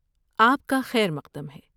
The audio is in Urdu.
آپ کا خیر مقدم ہے۔